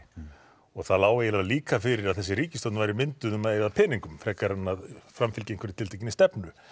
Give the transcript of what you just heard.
og það lá eiginlega líka fyrir að þessi ríkisstjórn væri mynduð um að eyða peningum frekar en að framfylgja einhverri tiltekinni stefnu